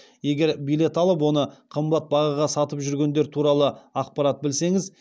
егер билет алып оны қымбат бағаға сатып жүргендер туралы ақпарат білсеңіз